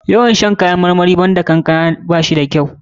Yawan shan kowani kayan marmari banda kankama ba shi da kyau.